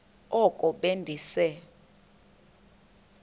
oko be ndise